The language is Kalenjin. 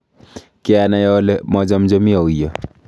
Kianai ole machamchami auyo?